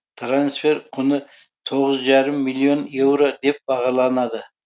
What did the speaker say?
трансфер құны тоғыз жарым миллион еуро деп бағаланады